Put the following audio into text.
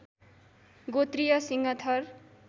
गोत्रीय सिंह थर